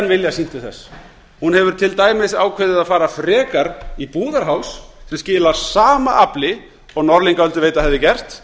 vilja sýnt til þess hún hefur til dæmis ákveðið að fara frekar í búðarháls sem skilar sama afli og norðlingaölduveita hefði gert